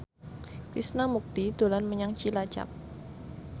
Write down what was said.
Krishna Mukti dolan menyang Cilacap